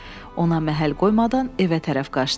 Ona məhəl qoymadan evə tərəf qaçdım.